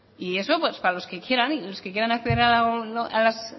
y eso pues para los que quieran y los que quieran acceder a las